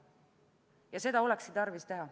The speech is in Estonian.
Ja seda olekski tarvis teha.